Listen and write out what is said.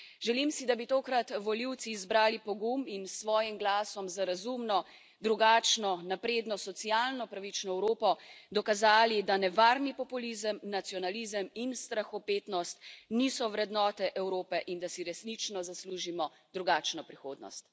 Želim si, da bi tokrat volivci izbrali pogum in s svojim glasom za razumno, drugačno, napredno, socialno pravično Evropo dokazali, da nevarni populizem, nacionalizem in strahopetnost niso vrednote Evrope in da si resnično zaslužimo drugačno prihodnost.